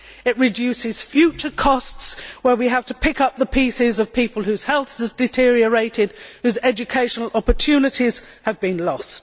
it reduces future costs where we have to pick up the pieces of people whose health has deteriorated and whose educational opportunities have been lost